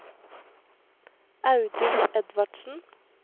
Audun Edvardsen